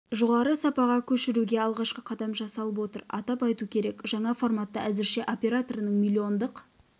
жоғары сапаға көшіруге алғашқы қадам жасалып отыр атап айту керек жаңа форматты әзірше операторының миллиондық